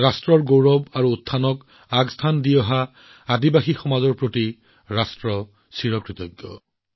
দেশৰ আত্মসন্মান আৰু উত্থানক সদায় সৰ্বোচ্চ কৰি ৰখা জনজাতীয় সমাজৰ প্ৰতি দেশবাসী কৃতজ্ঞ